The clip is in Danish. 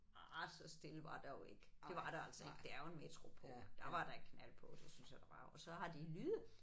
Arh så stille var der jo ikke det var der altså ikke det er jo en metropol der var da knald på det synes jeg der var og så har de lyde